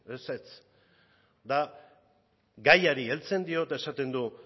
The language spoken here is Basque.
ezetz eta gaiari heltzen dio eta esaten du